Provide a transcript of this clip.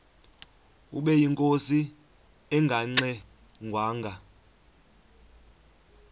ubeyinkosi engangxe ngwanga